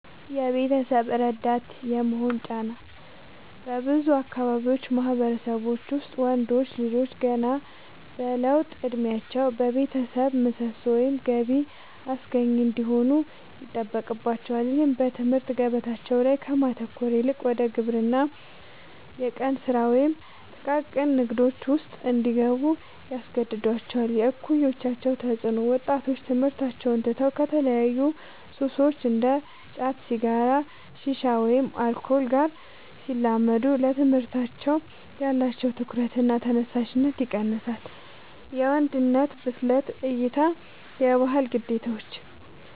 የቤተሰብ ረዳት የመሆን ጫና፦ በብዙ የአካባቢው ማህበረሰቦች ውስጥ ወንዶች ልጆች ገና በለውጥ እድሜያቸው የቤተሰብ ምሰሶ ወይም ገቢ አስገኚ እንዲሆኑ ይጠበቅባቸዋል። ይህም በትምህርት ገበታቸው ላይ ከማተኮር ይልቅ ወደ ግብርና፣ የቀን ስራ ወይም ጥቃቅን ንግዶች ውስጥ እንዲገቡ ያስገድዳቸዋል። የእኩዮች ተፅዕኖ፦ ወጣቶች ትምህርታቸውን ትተው ከተለያዩ ሱሶች (እንደ ጫት፣ ሲጋራ፣ ሺሻ ወይም አልኮል) ጋር ሲላመዱ ለትምህርታቸው ያላቸው ትኩረትና ተነሳሽነት ይቀንሳል። የወንድነት ብስለት እይታ (የባህል ግዴታዎች)፦